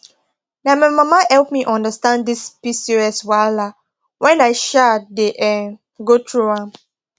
na my mama help me understand this pcos wahala when i um dey um go through am